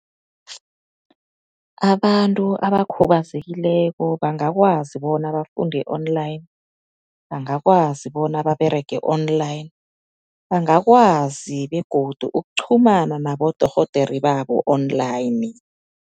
Abantu abakhubazekileko bangakwazi bona bafunde online, bangakwazi bona baberege online, bangakwazi begodu ukuchumana nabodorhodere babo online.